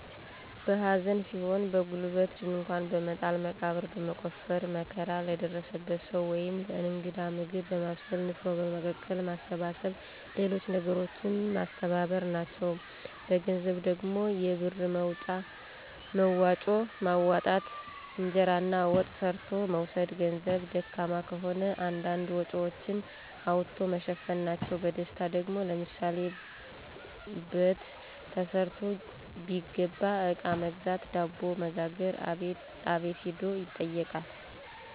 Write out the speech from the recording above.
በሐዘን ሲሆን በጉልበት ድንኳን በመጣል መቃብር በመቆፈር መከራ ለደረሰበት ሰዉ ወይም ለእንግዳ ምግብ በማብሰል፣ ንፍሮ በመቀቀል፣ ማሰባሰብ ሌሎች ነገሮችን ማስተባበር፣ ናቸዉ። በገንዘብ ደግሞ የብር መዋጮ ማዋጣት፣ እንጀራና ወጥ ሰርቶ መውሰድ በገንዘብ ደካማ ከሆኑ አንዳንድ ወጭወችን አዋቶ መሸፈን ናቸዉ። በደስታ ደግሞ፦ ለምሳሌ በት ተሰርቶ ቢገባ አቃ በመግዛት፣ ዳቦ በመጋገር፣ አቤት ሂዶ ይጠይቃል።